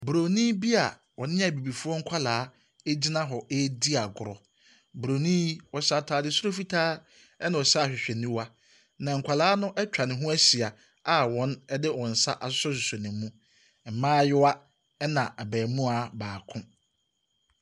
Broni bia ɔne abibifoɔ nkwadaa egyina hɔ eedi agorɔ. Broni yi, ɔhyɛ ataade soro fitaa ɛna ɔhyɛ ahwehwɛniwa. Na nkwadaa no ɛtwa ne ho ɛhyia a wɔn de wɔnsa asosososo ne mu. Mmayewa ɛne abɛmoa baako.